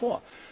Nach wie vor.